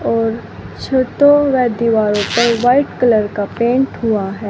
और छतो व दीवारो पर व्हाइट कलर का पेंट हुआ है।